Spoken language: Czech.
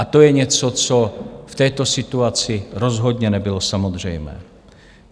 A to je něco, co v této situaci rozhodně nebylo samozřejmé.